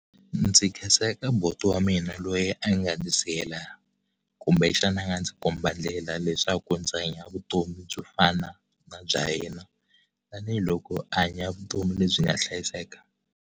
Ndzi khensa eka buti wa mina loyi a nga ndzi siyela kumbe xana a nga ndzi komba ndlela leswaku ndzi hanya vutomi byo fana na bya yena tanihiloko a hanya vutomi lebyi nga hlayiseka.